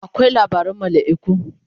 akwai labaran malaiku